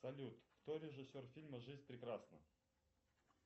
салют кто режиссер фильма жизнь прекрасна